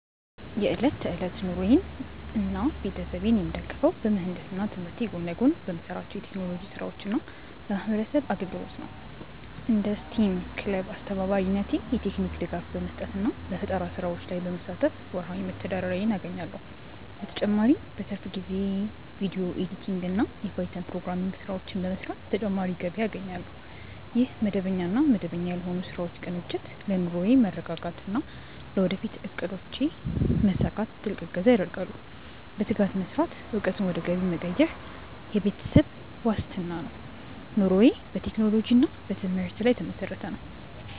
የዕለት ተዕለት ኑሮዬንና ቤተሰቤን የምደግፈው በምህንድስና ትምህርቴ ጎን ለጎን በምሰራቸው የቴክኖሎጂ ስራዎችና በማህበረሰብ አገልግሎት ነው። እንደ ስቴም ክለብ አስተባባሪነቴ የቴክኒክ ድጋፍ በመስጠትና በፈጠራ ስራዎች ላይ በመሳተፍ ወርሃዊ መተዳደሪያዬን አገኛለሁ። በተጨማሪም በትርፍ ጊዜዬ የቪዲዮ ኤዲቲንግና የፓይተን ፕሮግራሚንግ ስራዎችን በመስራት ተጨማሪ ገቢ አገኛለሁ። ይህ መደበኛና መደበኛ ያልሆኑ ስራዎች ቅንጅት ለኑሮዬ መረጋጋትና ለወደፊት እቅዶቼ መሳካት ትልቅ እገዛ ያደርጋል። በትጋት መስራትና እውቀትን ወደ ገቢ መቀየር ለቤተሰብ ዋስትና ነው። ኑሮዬ በቴክኖሎጂና በትምህርት ላይ የተመሰረተ ነው።